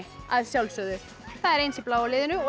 að sjálfsögðu það er eins í bláa liðinu og